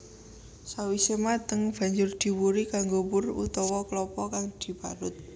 Sawise mateng banjur diwuri kanggo wur utawa klapa kang diparut